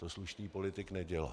To slušný politik nedělá.